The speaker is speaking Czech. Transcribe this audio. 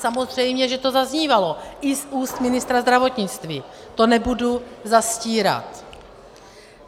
Samozřejmě že to zaznívalo i z úst ministra zdravotnictví, to nebudu zastírat.